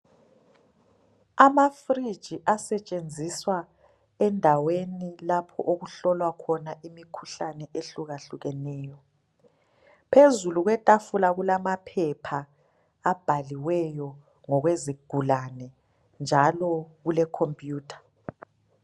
Amafridge asetshenziswa endaweni lapho okuhlolwa khona imikhuhlane ehlukahlukeneyo. Phezulu kwetafula kulamaphepha abhaliweyo ngokwezigulane njalo kulekhompiyutha.